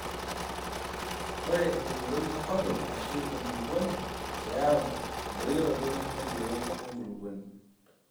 Ore euroi enkop ashu enkulupuoni keyau endoyioroto empiron enkulupuoni.